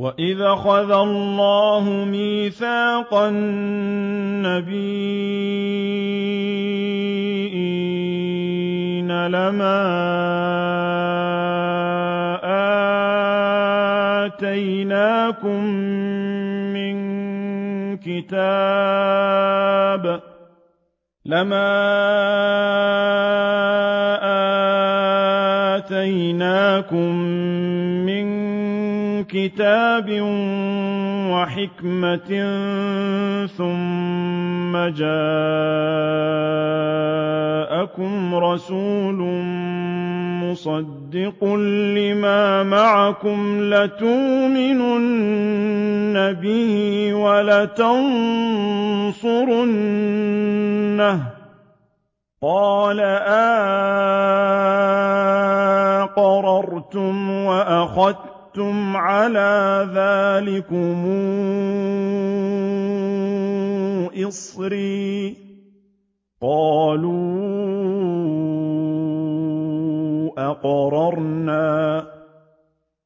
وَإِذْ أَخَذَ اللَّهُ مِيثَاقَ النَّبِيِّينَ لَمَا آتَيْتُكُم مِّن كِتَابٍ وَحِكْمَةٍ ثُمَّ جَاءَكُمْ رَسُولٌ مُّصَدِّقٌ لِّمَا مَعَكُمْ لَتُؤْمِنُنَّ بِهِ وَلَتَنصُرُنَّهُ ۚ قَالَ أَأَقْرَرْتُمْ وَأَخَذْتُمْ عَلَىٰ ذَٰلِكُمْ إِصْرِي ۖ قَالُوا أَقْرَرْنَا ۚ